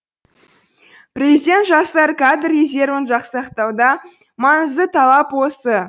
президент жастар кадр резервін жасақтауда маңызды талап осы